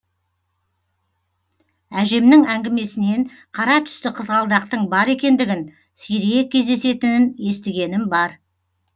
әжемнің әңгімесінен қара түсті қызғалдақтың бар екендігін сирек кездесетінін естігенім бар